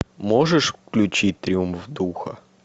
можешь включить триумф духа